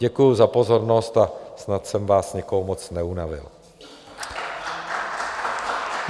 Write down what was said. Děkuji za pozornost a snad jsem vás nikoho moc neunavil.